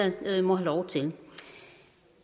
må have lov til